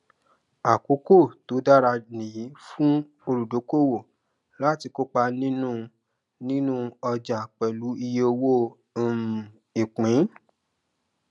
àkókò tó dára nìyí fún olùdókòwò láti kópa nínú nínú ọjà pẹlú iye owó um ìpín